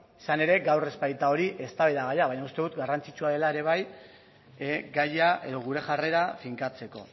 izan ere gaur ez baita hori eztabaidagaia baina uste dut garrantzitsua dela ere bai gaia edo gure jarrera finkatzeko